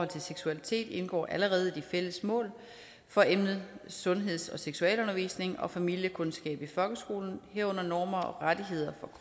til seksualitet indgår allerede i de fælles mål for emnet sundheds og seksualundervisning og familiekundskab i folkeskolen herunder normer og rettigheder